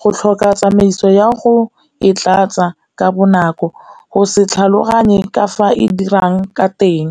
go tlhoka tsamaiso ya go e tlatsa ka bonako, go se tlhaloganye ka fa e dirang ka teng.